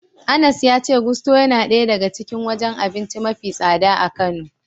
Anas ya ce Gusto yana daya daga cikin wajen abinci mafi tsada a Kano.